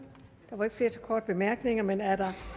herre